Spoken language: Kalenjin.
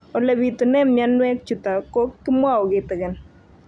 Ole pitune mionwek chutok ko kimwau kitig'�n